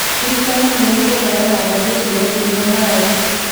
Thirikari nĩ ĩkũheana mbegũ ciretiria ng'aragu